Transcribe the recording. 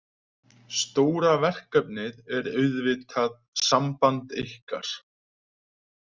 Stóra verkefnið er auðvitað samband ykkar.